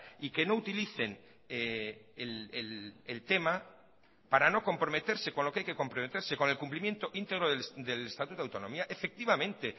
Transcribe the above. y que no utilicen el tema para no comprometerse con lo que hay que comprometerse con el cumplimiento íntegro del estatuto de autonomía efectivamente